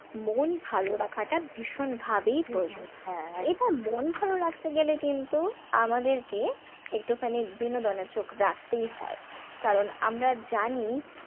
মন ভালো রাখাটা ভীষণ ভাবেই প্রয়োজন এবং মন ভালো রাখতে গেলে কিন্তু আমাদেরকে একটুখানি বিনোদনের চোখ রাখতেই হয় কারণ আমরা জানি,